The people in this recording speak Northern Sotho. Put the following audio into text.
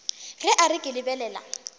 ge a re ke lebelela